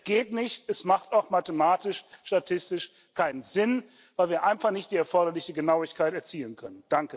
Es geht nicht, es macht auch mathematisch statistisch keinen Sinn, weil wir einfach nicht die erforderliche Genauigkeit erzielen können.